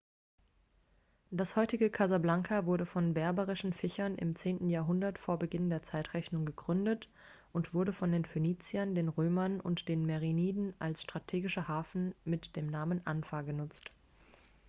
das heutige casablanca wurde von berberischen fischern im 10. jahrhundert vor beginn der zeitrechnung gegründet und wurde von den phöniziern den römern und den meriniden als strategischer hafen mit dem namen anfa genutzt